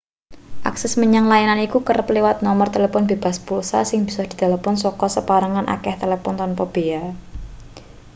akses menyang layanan iku kerep liwat nomor telepon bebas pulsa sing bisa ditelpon saka saperangan akeh talpon tanpa bea